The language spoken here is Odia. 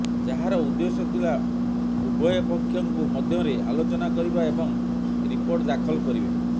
ଯାହାର ଉଦ୍ଦେଶ୍ୟ ଥିଲା ଉଭୟ ପକ୍ଷଙ୍କୁ ମଧ୍ୟରେ ଆଲୋଚନା କରିବା ଏବଂ ରିପୋର୍ଟ ଦାଖଲ କରିବେ